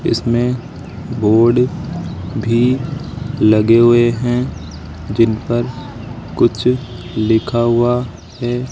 इसमें बोर्ड भी लगे हुए है जिन पर कुछ लिखा हुआ है।